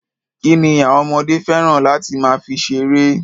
Kí ni àwọn ọmọdé fẹ́ràn láti máa fi ṣeré?